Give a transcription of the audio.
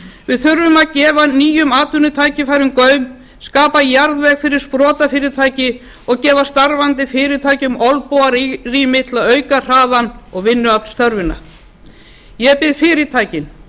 við þurfum að gefa nýjum atvinnutækifærum gaum skapa jarðveg fyrir sprotafyrirtæki og gefa starfandi fyrirtækjum olnbogarými til að auka hraðann og vinnuaflsþörfina ég bið fyrirtækin